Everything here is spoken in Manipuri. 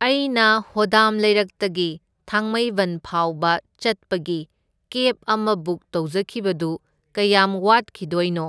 ꯑꯩꯅ ꯍꯣꯗꯥꯝ ꯂꯩꯔꯛꯇꯒꯤ ꯊꯥꯡꯃꯩꯕꯟ ꯐꯥꯎꯕ ꯆꯠꯄꯒꯤ ꯀꯦꯕ ꯑꯃ ꯕꯨꯛ ꯇꯧꯖꯈꯤꯕꯗꯨ ꯀꯌꯥꯝ ꯋꯥꯠꯈꯤꯗꯣꯏꯅꯣ?